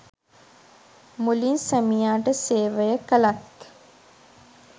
මුලින් සැමියාට සේවය කළත්